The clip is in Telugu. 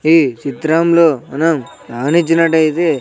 ఈ చిత్రంలో మనం గమనించినటయితే.